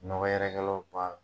Nɔgɔ yɛrɛkɛlaw ba